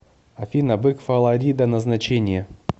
афина бык фаларида назначение